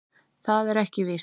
Það er ekki víst.